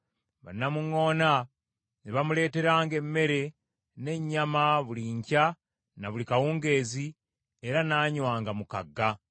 Bannamuŋŋoona ne bamuleeteranga emmere n’ennyama buli nkya na buli kawungeezi, era n’anywanga mu kagga.